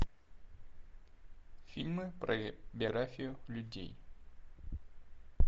фильмы про биографию людей